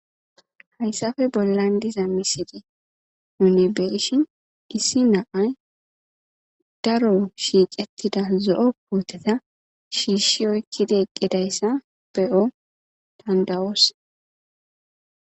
hayssafe bollan diza miside unebeshin dissi naay daro shiicettida zo7o pooteta shiishshi oykkide eqqedayssa beyo danda'os